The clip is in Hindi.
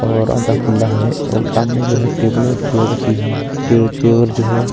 और आधा खुला है और सामने जो हैं टेबल और चेयर रखी हैं टेबल चेयर जो हैं।